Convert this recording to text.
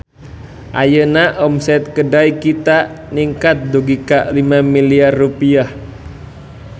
Ayeuna omset Kedai Kita ningkat dugi ka 5 miliar rupiah